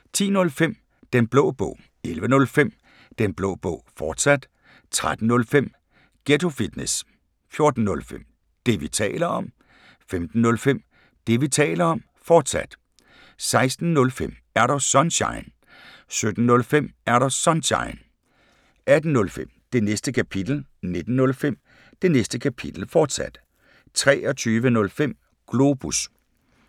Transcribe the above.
10:05: Den Blå Bog 11:05: Den Blå Bog, fortsat 13:05: Ghetto Fitness 14:05: Det, vi taler om 15:05: Det, vi taler om, fortsat 16:05: Er Du Sunshine? 17:05: Er Du Sunshine? 18:05: Det Næste Kapitel 19:05: Det Næste Kapitel, fortsat 23:05: Globus